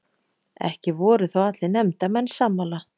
Ekki voru þó allir nefndarmenn sammála